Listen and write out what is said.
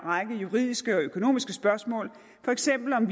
række juridiske og økonomiske spørgsmål for eksempel om